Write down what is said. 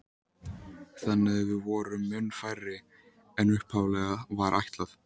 Þannig að við vorum mun færri en upphaflega var ætlað.